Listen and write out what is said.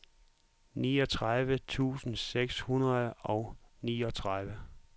niogtredive tusind seks hundrede og niogtredive